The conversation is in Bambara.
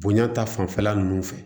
Bonya ta fanfɛla nunnu fɛ